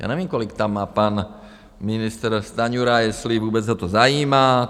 Já nevím, kolik tam má pan ministr Stanjura, jestli vůbec ho to zajímá.